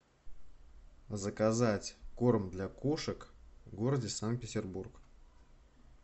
заказать корм для кошек в городе санкт петербург